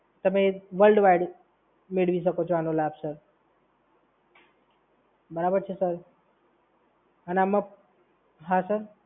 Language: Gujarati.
તમે વર્લ્ડવાઈડ મેળવી શકો છો આનો લાભ સર. બરાબર છે, સર? અને આમાં, હા સર.